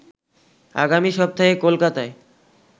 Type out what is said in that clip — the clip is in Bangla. আগামী সপ্তাহে কোলকাতায়